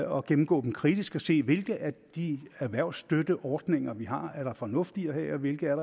og gennemgå dem kritisk og se hvilke af de erhvervsstøtteordninger vi har der er fornuft i at have og hvilke